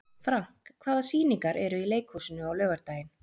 Frank, hvaða sýningar eru í leikhúsinu á laugardaginn?